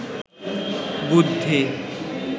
বুদ্ধি